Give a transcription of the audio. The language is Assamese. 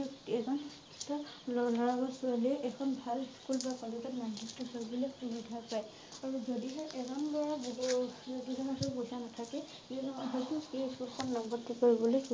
ব্যকএজন শিক্ষিত লৰা বা ছোৱালীয়ে এখন ভাল স্কুল বা কলেজত নাম ভৰ্তি কৰিবলৈ সুবিধা পায়। আৰু যদিহে এজন কৰা বহুত নাথাকে কিয়নো হয়তো লগত বুলি